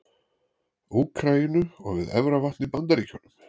Úkraínu og við Efravatn í Bandaríkjunum.